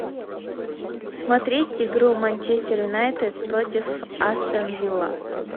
смотреть игру манчестер юнайтед против астон вилла